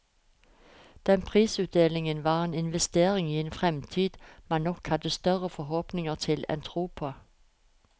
Den prisutdelingen var en investering i en fremtid man nok hadde større forhåpninger til enn tro på.